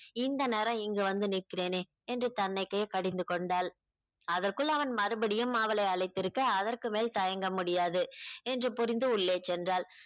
இந்த நேரம் இங்கு வந்து நிற்கிறேனே என்று தனக்கே கடிந்து கொண்டாள் அதற்குள் அவன் மறுபடியும் அவளை அழைத்திருக்க அதற்கு மேல் தயங்க முடியாது என்று புரிந்து உள்ளே சென்றாள்